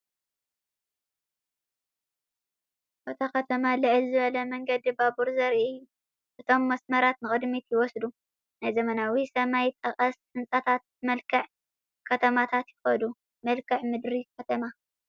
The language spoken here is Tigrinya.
ኣብታ ከተማ ልዕል ዝበለ መንገዲ ባቡር ዘርኢ እዩ። እቶም መስመራት ንቕድሚት ይወስዱ፣ ናብ ዘመናዊ ሰማይ ጠቀስ ህንጻታትን መልክዕ ከተማታትን ይኸዱ። መልክዓ ምድሪ ከተማ!